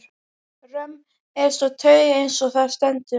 Römm er sú taug, eins og þar stendur